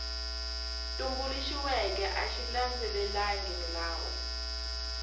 tumbuluxiweke a xi landzelelangi milawu